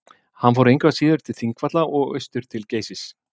Hann fór engu að síður til Þingvalla og austur til Geysis.